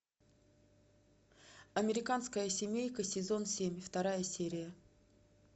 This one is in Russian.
американская семейка сезон семь вторая серия